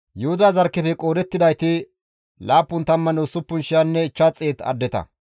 Yuhuda zarkkefe qoodettidayti 76,500 addeta.